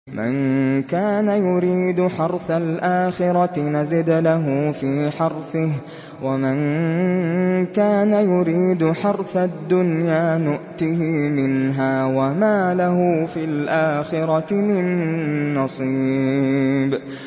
مَن كَانَ يُرِيدُ حَرْثَ الْآخِرَةِ نَزِدْ لَهُ فِي حَرْثِهِ ۖ وَمَن كَانَ يُرِيدُ حَرْثَ الدُّنْيَا نُؤْتِهِ مِنْهَا وَمَا لَهُ فِي الْآخِرَةِ مِن نَّصِيبٍ